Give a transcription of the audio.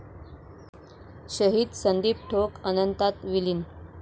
शहीद संदीप ठोक अनंतात विलीन